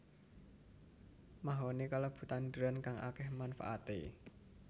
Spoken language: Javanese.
Mahoni kalebu tanduran kang akéh manfaaté